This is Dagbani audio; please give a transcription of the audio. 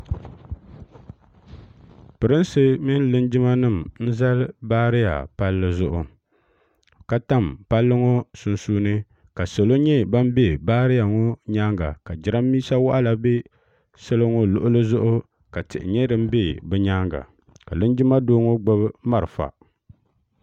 pɛirnsi mini linjima n zali baariya pali zuɣ' ka tam pali ŋɔ sunsuuni ka salo nyɛ ban bɛ baariya ŋɔ nyɛga ka jɛrabisawanla bɛ salo luɣili zuɣ' la tihi nyɛ din bɛ binyɛŋa ka linjima gbabi mariƒa